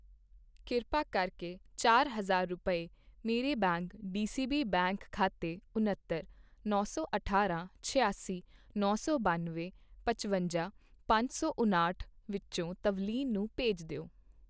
ਕਿਰਪਾ ਕਰਕੇ ਚਾਰ ਹਜ਼ਾਰ ਰੁਪਏ, ਮੇਰੇ ਬੈਂਕ ਡੀਸੀਬੀ ਬੈਂਕ ਖਾਤੇ ਉੱਨਤਰ, ਨੌ ਸੌ ਅਠਾਰਾਂ, ਛਿਆਸੀ, ਨੌ ਸੌ ਬੰਨਵੇਂ, ਪਚਵੰਜਾ, ਪੰਜ ਸੌ ਉਨਾਹਠ ਵਿਚੋਂ ਤਵਲੀਨ ਨੂੰ ਭੇਜ ਦਿਓ